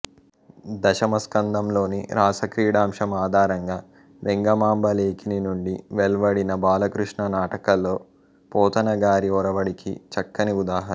దశమస్కందంలోని రాసక్రీడాంశం ఆధారంగా వెంగమాంబ లేఖిని నుండి వెల్వడిన బాలకృష్ణ నాటకలో పోతన గారి ఒరవడికి చక్కని ఉదాహరణ